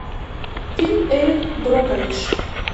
фильм эрин брокович